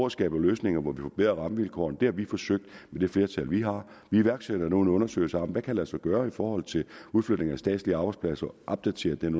at skabe løsninger hvor vi kan forbedre rammevilkårene det har vi forsøgt med det flertal vi har vi iværksætter nu en undersøgelse om hvad der kan lade sig gøre i forhold til udflytning af statslige arbejdspladser og opdaterer den